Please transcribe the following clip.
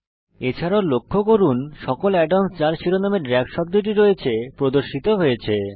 এছাড়াও লক্ষ্য করুন যে সকল add অন্স যার শিরোনামে দ্রাগ শব্দটি রয়েছে তা প্রদর্শিত হয়েছে